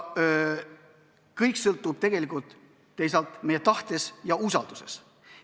Kõik sõltub tegelikult meie tahtest ja usaldusest.